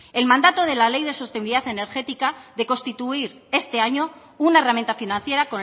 el mandato de la ley de sostenibilidad energética de constituir este año una herramienta financiera